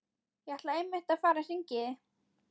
Ég ætlaði einmitt að fara að hringja í þig.